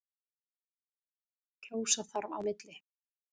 Kjósa þarf á milli.